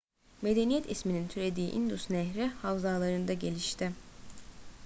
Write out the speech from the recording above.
medeniyet isminin türediği i̇ndus nehri havzalarında gelişti